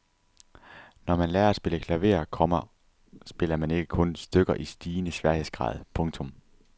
Når man lærer at spille klaver, komma spiller man ikke kun stykker i stigende sværhedsgrad. punktum